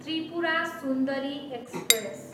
Tripura Sundari express